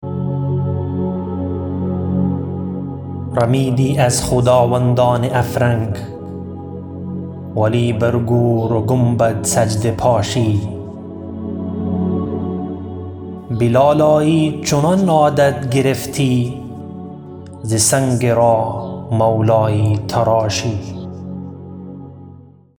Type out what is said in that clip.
رمیدی از خداوندان افرنگ ولی بر گور و گنبد سجده پاشی به لالایی چنان عادت گرفتی ز سنگ راه مولایی تراشی